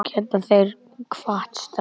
Annars geta þeir kvatt strax.